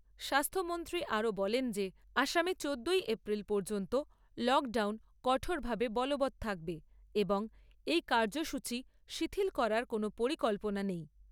স্বাস্থ্যমন্ত্রী আরও বলেন যে আসামে চোদ্দোই এপ্রিল পর্যন্ত লকডাউন কঠোরভাবে বলবৎ থাকবে এবং এই কাৰ্য্যসূচী শিথিল করার কোনও পরিকল্পনা নেই।